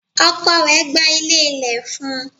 Ọkọ rẹ̀ gba ilé ilẹ̀ fún un.